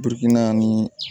Biriki na nii